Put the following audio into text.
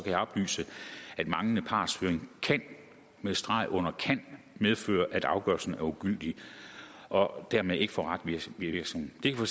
jeg oplyse at manglende partshøring kan med streg under kan medføre at afgørelsen er ugyldig og dermed ikke får retsvirkning det kan